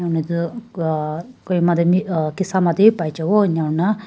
uh Kohima de uh Kisama tey bi paijano enia huina--